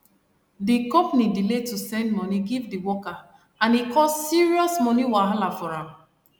de company delay to send money give di worker and e cause serious money wahala for am